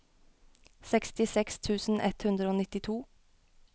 sekstiseks tusen ett hundre og nittito